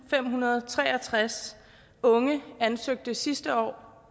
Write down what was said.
femhundrede og treogtreds unge ansøgte sidste år